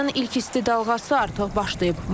Yayın ilk isti dalğası artıq başlayıb.